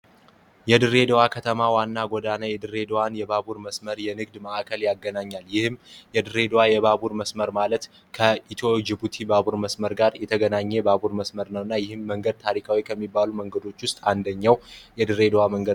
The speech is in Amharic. የድሬደዋ ከተማ ዋና ገዳና የድሬደዋን የባቡር መስመር የንግድ መዕከል ያገናኛል ይህም የድሬደዋ የባቡር መስመር ማለት ከኢቲዮጅቡቲ ባቡር መስመር ጋር የተገናኘ ባቡር መስመር ነው እና ይህም መንገድ ታሪካዊ ከሚባሉ መንገዶች ውስጥ አንደኛው የድሬ ደዋ መንገድ ነው።